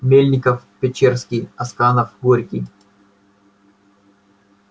мельников-печерский асканов горький